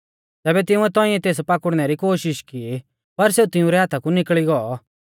तैबै तिंउऐ तौंइऐ तेस पाकुड़नै री कोशिष की पर सेऊ तिंउरै हाथा कु निकल़ी गौ